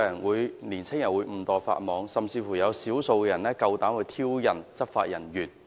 為何青年人會誤墮法網，甚至有少數人膽敢挑釁執法人員？